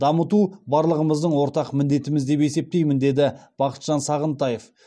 дамыту барлығымыздың ортақ міндетіміз деп есептеймін деді бақытжан сағынтаев